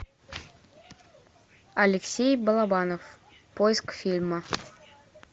алексей балабанов поиск фильма